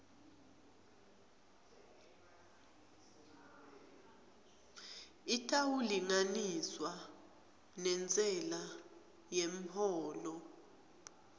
itawulinganiswa nentsela yemholo